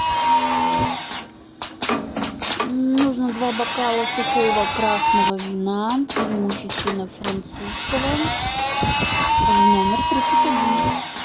нужно два бокала сухого красного вина преимущественно французского в номер тридцать один